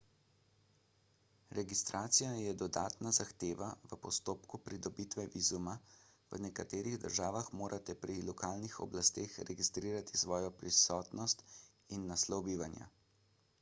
registracija je dodatna zahteva v postopku pridobitve vizuma v nekaterih državah morate pri lokalnih oblasteh registrirati svojo prisotnost in naslov bivanja